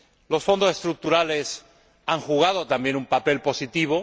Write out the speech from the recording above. Los Fondos Estructurales han jugado también un papel positivo